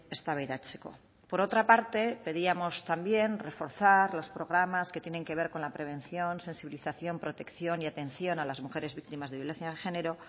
eztabaidatzeko por otra parte pedíamos también reforzar los programas que tienen que ver con la prevención sensibilización protección y atención a las mujeres víctimas de violencia de género